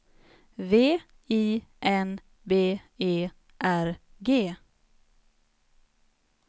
V I N B E R G